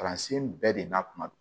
Kalansen bɛɛ de n'a kuma don